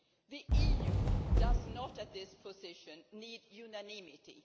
the EU does not at this point need unanimity.